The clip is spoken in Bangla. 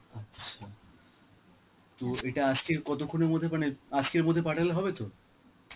আচ্ছা, তো এটা আজকে কতক্ষনের মধ্যে মানে, আজকের মধ্যে পাঠালে হবে তো?